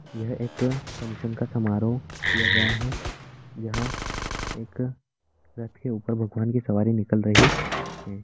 यह एक फंक्शन का समारोह किया गया है यहाँ एक रथ के ऊपर भगवान की सवारी निकल रही है।